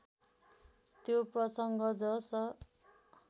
त्यो प्रसंग जस